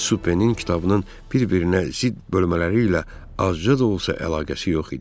Supenin kitabının bir-birinə zidd bölmələri ilə azca da olsa əlaqəsi yox idi.